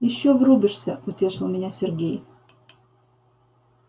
ещё врубишься утешил меня сергей